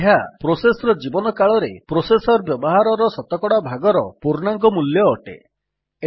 ଏବେ ଏହା ପ୍ରୋସେସ୍ ର ଜୀବନକାଳରେ ପ୍ରୋସେସର୍ ବ୍ୟବହାରର ଶତକଡା ଭାଗର ପୂର୍ଣ୍ଣାଙ୍କ ମୂଲ୍ୟ ଅଟେ